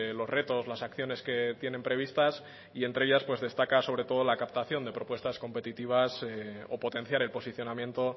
los retos las acciones que tienen previstas y entre ellas pues destaca sobre todo la captación de propuestas competitivas o potenciar el posicionamiento